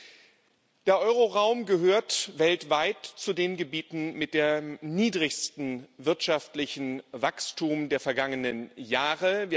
Das Euro Währungsgebiet gehört weltweit zu den Gebieten mit dem niedrigsten wirtschaftlichen Wachstum der vergangenen Jahre.